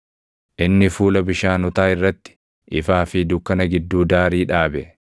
Inni fuula bishaanotaa irratti, ifaa fi dukkana gidduu daarii dhaabe.